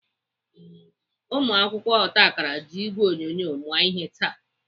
Ụmụakwụkwọ otakara ji ìgwè onyonyo mụọ ihe taa.